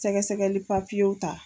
Sɛgɛsɛgɛli papiyew ta.